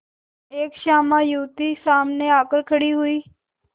एक श्यामा युवती सामने आकर खड़ी हुई